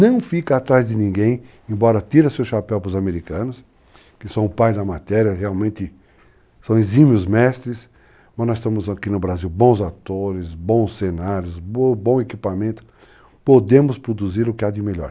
Não fica atrás de ninguém, embora tire seu chapéu para os americanos, que são o pai da matéria, realmente são exímios mestres, mas nós estamos aqui no Brasil, bons atores, bons cenários, bom equipamento, podemos produzir o que há de melhor.